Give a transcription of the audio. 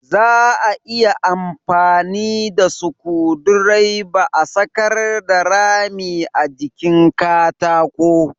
Za a iya amfani da sukudireba a sakarda rami a jikin katako